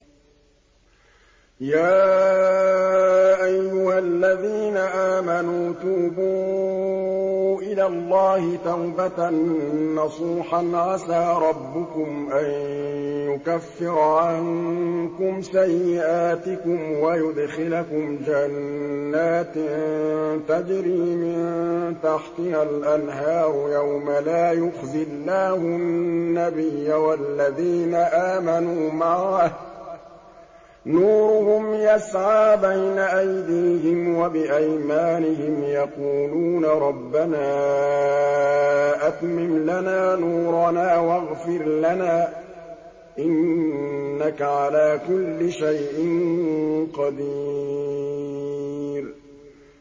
يَا أَيُّهَا الَّذِينَ آمَنُوا تُوبُوا إِلَى اللَّهِ تَوْبَةً نَّصُوحًا عَسَىٰ رَبُّكُمْ أَن يُكَفِّرَ عَنكُمْ سَيِّئَاتِكُمْ وَيُدْخِلَكُمْ جَنَّاتٍ تَجْرِي مِن تَحْتِهَا الْأَنْهَارُ يَوْمَ لَا يُخْزِي اللَّهُ النَّبِيَّ وَالَّذِينَ آمَنُوا مَعَهُ ۖ نُورُهُمْ يَسْعَىٰ بَيْنَ أَيْدِيهِمْ وَبِأَيْمَانِهِمْ يَقُولُونَ رَبَّنَا أَتْمِمْ لَنَا نُورَنَا وَاغْفِرْ لَنَا ۖ إِنَّكَ عَلَىٰ كُلِّ شَيْءٍ قَدِيرٌ